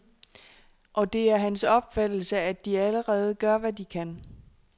Og det er hans opfattelse, at de allerede gør, hvad de kan.